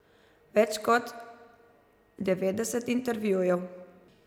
Več kot devetdeset intervjujev.